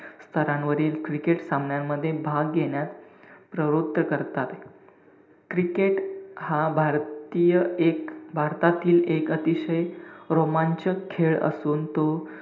स्थरांवरील cricket सामन्यांमध्ये भाग घेण्यास प्रवृत्त करतात. cricket हा भारतीय एक भारतातील एक अतिशय रोमांचक खेळ असून तो,